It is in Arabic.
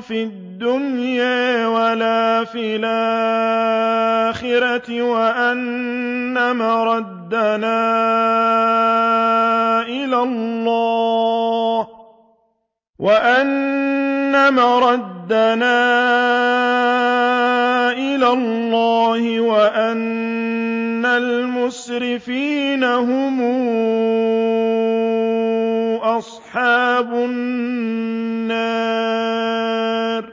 فِي الدُّنْيَا وَلَا فِي الْآخِرَةِ وَأَنَّ مَرَدَّنَا إِلَى اللَّهِ وَأَنَّ الْمُسْرِفِينَ هُمْ أَصْحَابُ النَّارِ